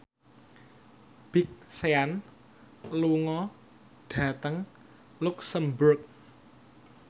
Big Sean lunga dhateng luxemburg